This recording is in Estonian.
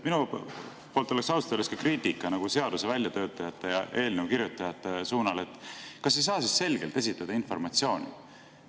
Mul oleks ausalt öeldes ka kriitika seaduse väljatöötajate ja eelnõu kirjutajate suunal, et kas ei saa siis informatsiooni selgelt esitada.